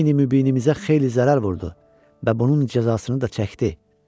Dini mübinimizə xeyli zərər vurdu və bunun cəzasını da çəkdi.